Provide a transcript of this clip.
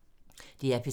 DR P3